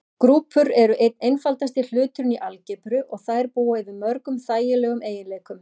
Grúpur eru einn einfaldasti hluturinn í algebru og þær búa yfir mörgum þægilegum eiginleikum.